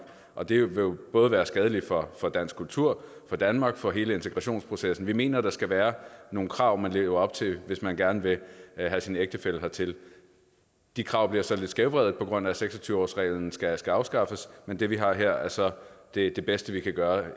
og det vil jo både være skadeligt for dansk kultur for danmark og for hele integrationsprocessen vi mener at der skal være nogle krav man skal leve op til hvis man gerne vil have sin ægtefælle hertil de krav bliver så lidt skævvredet på grund af at seks og tyve årsreglen skal skal afskaffes men det vi har her er så det det bedste vi kan gøre